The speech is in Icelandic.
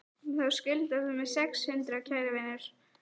Þá skuldar þú mér sex hundruð, kæri vinur.